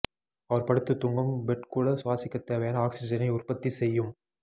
அவர் படுத்து தூங்கும் பெட் கூட சுவாசிக்க தேவையான ஆக்ஸிஜனை உற்பத்தி செய்யும்